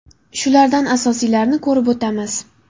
Shulardan asosiylarini ko‘rib o‘tamiz.